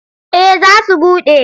Eh za su buɗe.